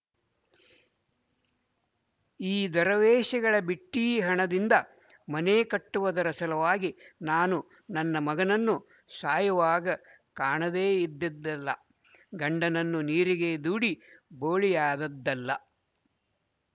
ಈ ದರವೇಸಿಗಳ ಬಿಟ್ಟೀ ಹಣದಿಂದ ಮನೆ ಕಟ್ಟುವುದರ ಸಲುವಾಗಿ ನಾನು ನನ್ನ ಮಗನನ್ನು ಸಾಯುವಾಗ ಕಾಣದೇ ಇದ್ದದ್ದಲ್ಲ ಗಂಡನನ್ನು ನೀರಿಗೆ ದೂಡಿ ಬೋಳಿಯಾದದ್ದಲ್ಲ